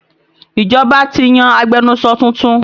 Ìjọba ti yan agbẹnusọ tuntun